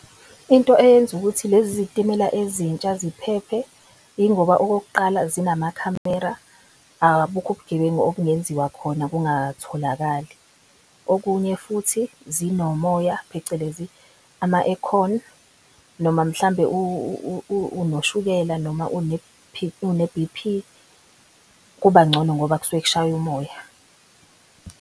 Into eyenza ukuthi lezi zitimela ezintsha ziphephe ingoba okokuqala zinamakhamera abukho ubugebengu obungenziwa khona kungatholakali. Okunye futhi zinomoya, phecelezi ama-ekhoni noma mhlambe unoshukela noma une-B_P kuba ngcono ngoba kusuke kushaya umoya.